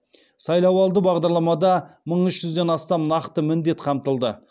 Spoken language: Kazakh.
сайлауалды бағдарламада мың үш жүзден астам нақты міндет қамтылды